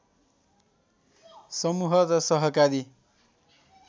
समूह र सहकारी